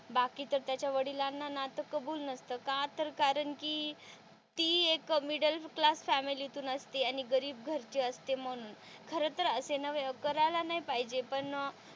बाकीच्या त्याच्या वडिलांना नातं कबूल नसत का तर कारण कि ती एक मिडल क्लास फॅमिली तुन असती आणि गरीब घरची असते म्हणून खरं तर असे कोणाला नाही पाहिजे पण,